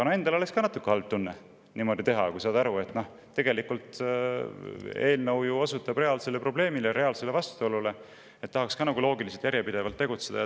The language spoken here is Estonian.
Endal oleks küll natuke halb tunne niimoodi teha, kui saad aru, et tegelikult osutab eelnõu reaalsele probleemile, reaalsele vastuolule, tahaks nagu loogiliselt ja järjepidevalt tegutseda.